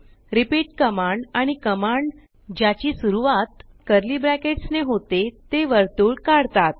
repeat command आणि command ज्याची सुरवात कर्ली ब्रॅकेट्स ने होते ते वर्तुळ काढतात